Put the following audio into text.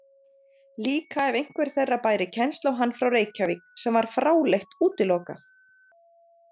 Líka ef einhver þeirra bæri kennsl á hann frá Reykjavík, sem var fráleitt útilokað.